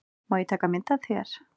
Má ég taka mynd af þér?